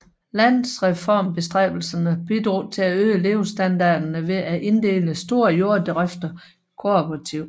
Landreformbestræbelserne bidrog til at øge levestandarden ved at inddele større jorddrifter i kooperativer